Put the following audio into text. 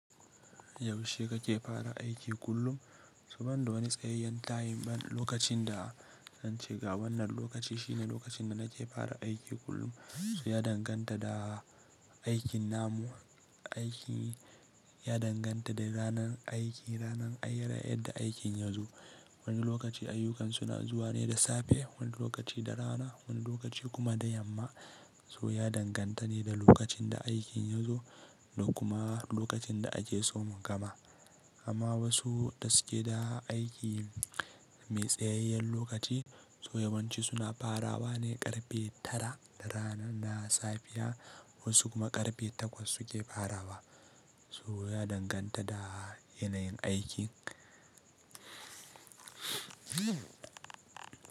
Yaushe kake fara aiki kullum? Ban da wani tsayayyen tayim lokacin da zance ga wannan lokaci shine lokacin da nake fara aiki kullum. So ya danganta da aikin namu, aikin ya danganta da ranar aiki, ranar ayyuka yadda aikin ya zo. Wani lokaci ayyukan suna zuwa ne da safe, wani lokaci da rana, wani lokaci kuma da yamma. So ya danganta ne da lokacin da aikin ya zo da kuma lokacin da ake so mu gama. Amma wasu da suke da aiki mai tsayayyen lokaci, so yawanci suna farawa ne karfe tara na rana na safiya wasu kuma karfe takwas suke farawa. So ya danganta da yanayin aikin.